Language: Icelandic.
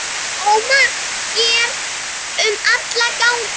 ómar hér um alla ganga.